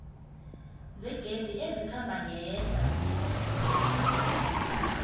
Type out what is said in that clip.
zegezi ezikhamba ngehla